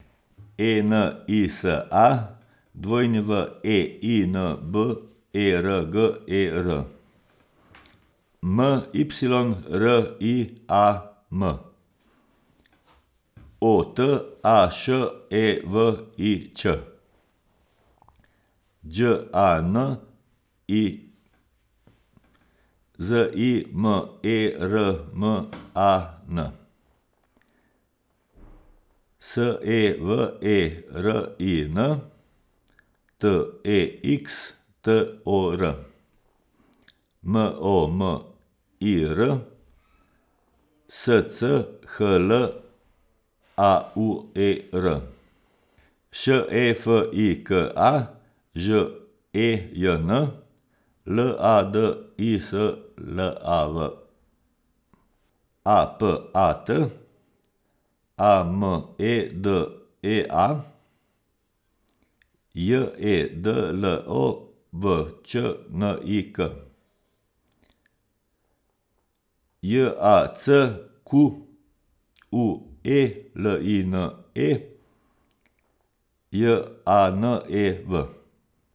E N I S A, W E I N B E R G E R; M Y R I A M, O T A Š E V I Ć; Đ A N I, Z I M E R M A N; S E V E R I N, T E X T O R; M O M I R, S C H L A U E R; Š E F I K A, Ž E J N; L A D I S L A V, A P A T; A M E D E A, J E D L O V Č N I K; J A C Q U E L I N E, J A N E V.